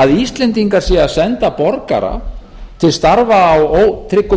að íslendingar séu að senda borgara til starfa á ótryggum